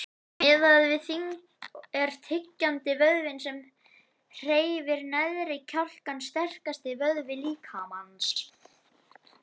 Miðað við þyngd er tyggjandi, vöðvinn sem hreyfir neðri kjálkann, sterkasti vöðvi líkamans.